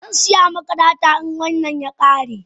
Zansiya maka data in wannan ya kare.